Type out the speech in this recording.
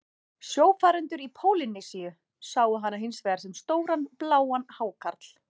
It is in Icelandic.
Sjófarendur í Pólýnesíu sáu hana hins vegar sem stóran bláan hákarl.